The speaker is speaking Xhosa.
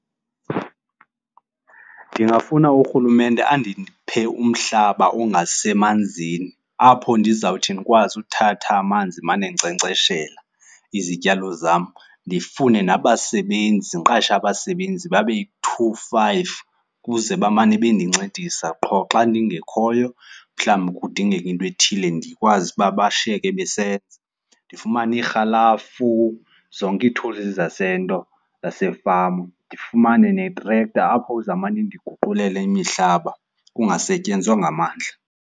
Ndingafuna urhulumente andiphe umhlaba ongasemanzini apho ndizawuthi ndikwazi uthatha amanzi ndimane ndinkcenkceshela izityalo zam. Ndifune nabasebenzi, ndiqashe abasebenzi babe yi-two, five ukuze bamane bendincedisa. Qho xa ndingekhoyo, mhlawumbi kudingeke into ethile, ndikwazi uba bashiyeke besenza. Ndifumane irhalafu, zonke ii-tools zasento, zasefama. Ndifumane netrekta apho izawumane indiguqulele imihlaba, kungasetyenzwa ngamandla.